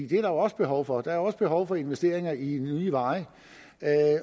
det er der også behov for der er jo også behov for investeringer i nye veje